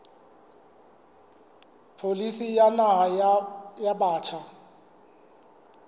pholisi ya naha ya batjha